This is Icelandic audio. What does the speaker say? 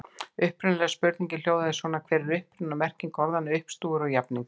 Upprunalega spurningin hljóðaði svona: Hver er uppruni og merking orðanna uppstúfur og jafningur?